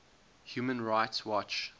human rights watch